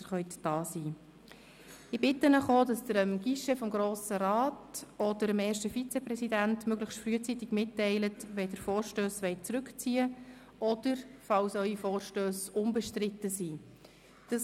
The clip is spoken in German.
Ich bitte Sie auch, dem Guichet des Grossen Rats oder dem ersten Vizepräsidenten möglichst frühzeitig mitzuteilen, wenn Sie Vorstösse zurückziehen, oder ihnen frühzeitig mitzuteilen, dass diese nicht bestritten sind.